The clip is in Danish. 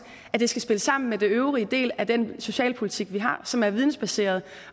spille sammen med den øvrige del af den socialpolitik vi har som er vidensbaseret